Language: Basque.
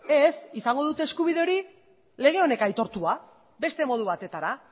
ez izango dute eskubide hori lege honek aitortua beste modu batetara